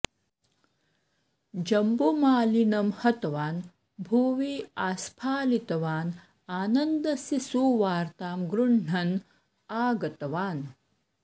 जम्बुमालिनम् हतवान् भुवि आस्फालितवान् आनन्दस्य सुवार्ताम् गृह्णन् आगतवान्